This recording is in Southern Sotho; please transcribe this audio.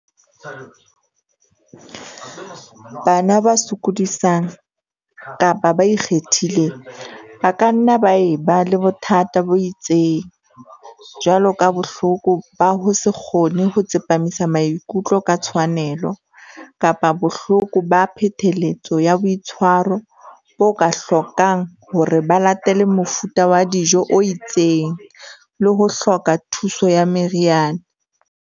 Bana ba sokodisang kapa ba 'ikgethileng' ba ka nna ba e ba le bothata bo itseng, jwalo ka Bohloko ba ho se kgone ho Tsepamisa maikutlo ka Tshwanelo kapa Bohloko ba Phetheletso ya Boitshwaro bo ka hlokang hore ba latele mofuta wa dijo o itseng le ho hloka thuso ya meriana.